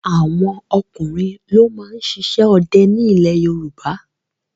Àwọn ọkùnrin ló máa ń ṣiṣẹ́ ọdẹ ní ilẹ̀ Yorùbá.